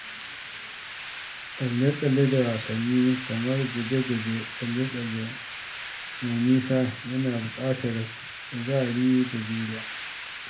Tsalle-tsalle na wasanni kamar guje-guje da tsalle mai nisa yana buƙatar kuzari da juriya.